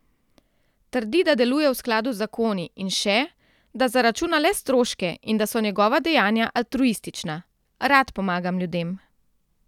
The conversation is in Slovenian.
Trdi, da deluje v skladu z zakoni, in še, da zaračuna le stroške in da so njegova dejanja altruistična: 'Rad pomagam ljudem.